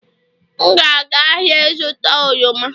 M ga-aga ahịa ịzụta oroma